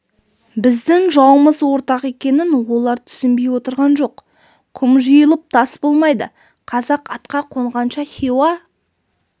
біздің жауымыз ортақ екенін олар түсінбей отырған жоқ құм жиылып тас болмайды қазақ атқа қонғанша хиуа